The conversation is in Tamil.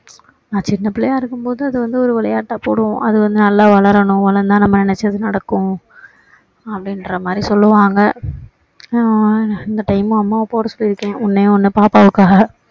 நான் சின்ன பிள்ளையா இருக்கும் போது அது வந்து ஒரு விளையாட்டா போடுவோம் அது வந்து நல்லா வளரணும் வளர்ந்தா நம்ம நினைச்சது நடக்கும் அப்படிங்கற மாதிரி சொல்லுவாங்க நான் இந்த time மு அம்மாவ போட சொல்லி இருக்கேன் ஒண்ணே ஒண்ணு பாப்பாவுக்காக